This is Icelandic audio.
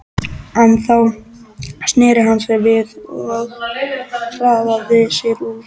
En þá sneri hann sér við og hraðaði sér út.